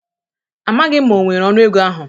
Amaghị m ma o nwere ọnụ ego ahụ